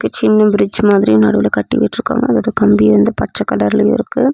சின்ன பிரிட்ஜ் மாதிரி நடுவுல கட்டிவிட்ருக்காங்க அதுக்கு கம்பி வந்து பச்ச கலர்ல இருக்கு.